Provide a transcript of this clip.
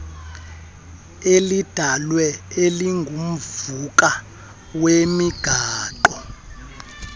elidalwe elingumvuka wemigaqo